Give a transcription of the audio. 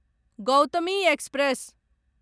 Gautami express